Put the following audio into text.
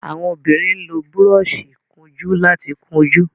àwọn obìrin ló Búrọ́ọ̀ṣì ìkunjú láti kunjú.